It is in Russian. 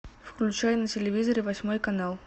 включай на телевизоре восьмой канал